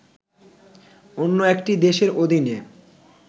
অন্য একটি দেশের অধীনে